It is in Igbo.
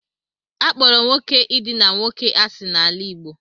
A kpọro nwoke idina nwoke asị n'ala Igbo.